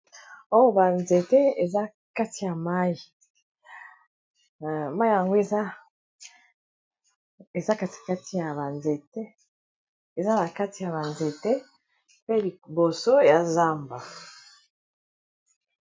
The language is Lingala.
oyo banzete eza kati ya mai mai yango ea katikati ya banzete eza na kati ya banzete mpe liboso ya zamba